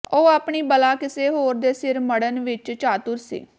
ਉਹ ਆਪਣੀ ਬਲਾ ਕਿਸੇ ਹੋਰ ਦੇ ਸਿਰ ਮੜ੍ਹਣ ਵਿਚ ਚਾਤੁਰ ਸੀ